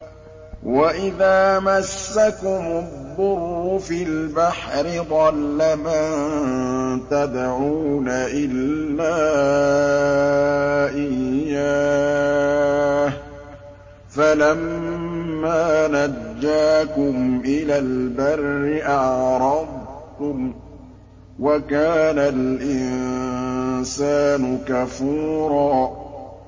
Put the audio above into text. وَإِذَا مَسَّكُمُ الضُّرُّ فِي الْبَحْرِ ضَلَّ مَن تَدْعُونَ إِلَّا إِيَّاهُ ۖ فَلَمَّا نَجَّاكُمْ إِلَى الْبَرِّ أَعْرَضْتُمْ ۚ وَكَانَ الْإِنسَانُ كَفُورًا